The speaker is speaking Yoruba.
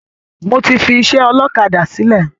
Mo ti fi ìṣe ọlọ́kadà sìlẹ̀